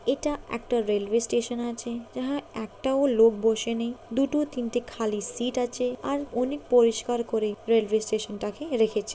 এটা একটা railway station আছে। যাহা একটাও লোক বসে নেই। দুটো তিনটে খালি সিট আছে। আর অনেক পরিষ্কার করে রেল ওয়ে স্টেশন টাকে রেখেছে।